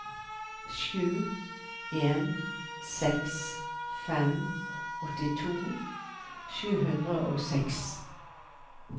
sju en seks fem åttito sju hundre og seks